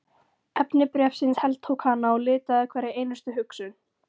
Efni bréfsins heltók hana og litaði hverja einustu hugsun.